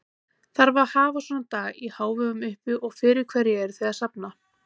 Þarf að hafa svona dag í hávegum uppi og fyrir hverju eruð þið að safna?